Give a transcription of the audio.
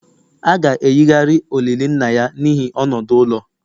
A ga-eyigharị olili nna ya n'ihi nọdụ n'ụlọ